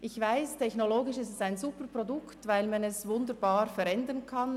Ich weiss, dass Palmfett technologisch ein Superprodukt ist, weil man es wunderbar verändern kann.